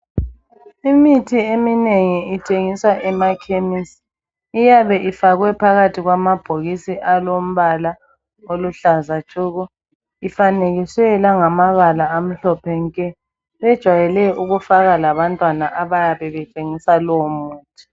imithi eminengi ithengiswa emakhemesi iyabe ifakwe phakathi kwamabhokisi alombala oluhlza tshoko ifanekiswe langamabala amhlophe nke bejwayelev ukufaka labantwana abayabe betshengisa lowo muthi